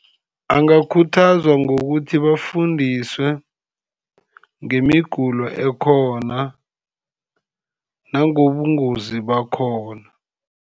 Angakhuthazwa ngokuthi bafundiswe ngemigulo ekhona, nangobungozi bakhona.